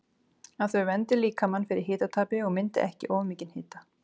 Að þau verndi líkamann fyrir hitatapi og myndi ekki of mikinn hita.